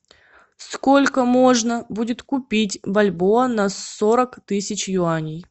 сколько можно будет купить бальбоа на сорок тысяч юаней